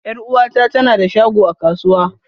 Yar'uwata ta na da shago a kasuwa.